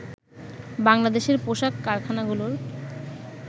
বাংলাদেশের পোশাক কারখানাগুলোর